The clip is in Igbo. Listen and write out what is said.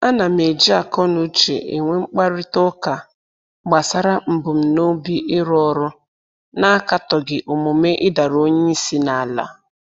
Ana m eji akọnuche enwe mkparịta ụka gbasara mbunobi ịrụ ọrụ na-akatọghị omume ịdara onye isi n'ala